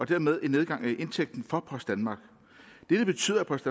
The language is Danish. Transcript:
og dermed en nedgang i indtægten for post danmark dette betyder at post